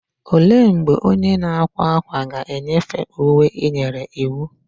Olee mgbe onye na-akwa ákwà ga-enyefee uwe ị nyere iwu?